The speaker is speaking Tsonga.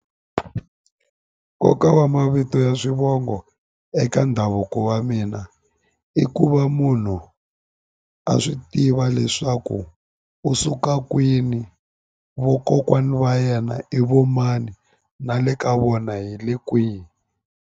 Nkoka wa mavito ya swivongo eka ndhavuko wa mina i ku va munhu a swi tiva leswaku u suka kwini vokokwani va yena i vo mani na le ka vona hi le kwihi.